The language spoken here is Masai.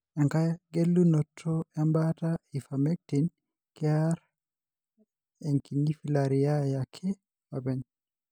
Engae gelunoto embaata, ivermectin, kear enkinyifilariae ake openy.